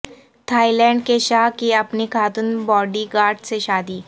Thai land کے شاہ کی اپنی خاتون باڈی گارڈ سے شادی